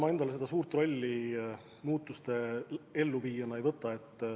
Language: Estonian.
Ma endale seda suurt muudatuste elluviija rolli ei võta.